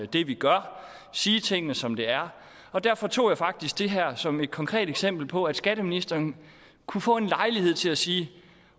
det vi gør sige tingene som de er og derfor tog jeg faktisk det her som et konkret eksempel på at skatteministeren kunne få en lejlighed til at sige